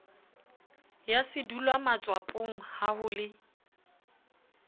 ya sedulwamatswapong ha ho le